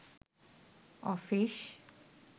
office